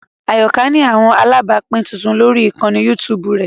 Ayoka ni awọn alabapin tuntun lori ikanni YouTube rẹ